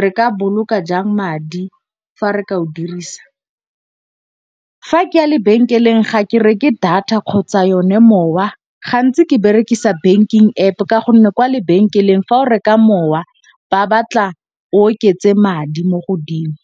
re ka boloka jang madi fa re ka o dirisa. Fa ke ya lebenkeleng ga ke reke data kgotsa yone mowa, gantsi ke berekisa banking App ka gonne kwa lebenkeleng fa o reka mowa ba batla o oketse madi mo godimo.